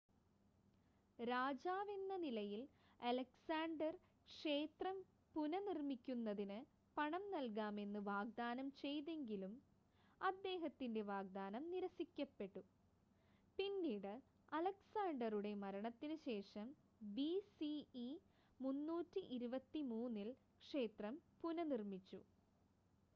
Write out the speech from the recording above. രാജാവെന്ന നിലയിൽ അലക്‌സാണ്ടർ ക്ഷേത്രം പുനഃനിർമ്മിക്കുന്നതിന് പണം നൽകാമെന്ന് വാഗ്‌ദാനം ചെയ്‌തെങ്കിലും അദ്ദേഹത്തിൻ്റെ വാഗ്‌ദാനം നിരസിക്കപ്പെട്ടു പിന്നീട് അലക്‌സാണ്ടറുടെ മരണത്തിന് ശേഷം ബിസിഇ 323-ൽ ക്ഷേത്രം പുനഃനിർമ്മിച്ചു